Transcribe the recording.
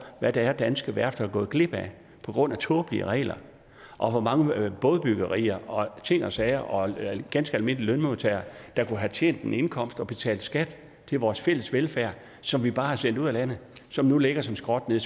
hvad det er danske værfter er gået glip af på grund af tåbelige regler og hvor mange bådebyggerier og ting og sager og ganske almindelige lønmodtagere der kunne have tjent en indkomst og betalt skat til vores fælles velfærd som vi bare har sendt ud af landet som nu ligger som skrot nede